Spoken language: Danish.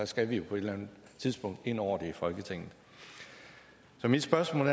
skal vi på et eller andet tidspunkt ind over det i folketinget så mit spørgsmål